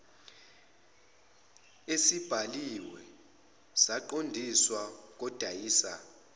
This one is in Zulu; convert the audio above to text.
esibhaliwe saqondiswa kodayisa